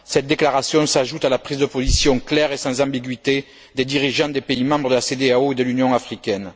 Cette déclaration s'ajoute à la prise de position claire et sans ambiguïté des dirigeants des pays membres de la CEDEAO et de l'Union africaine.